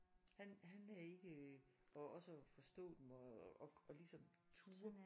Han han er ikke øh og også at forstå dem og og ligesom turde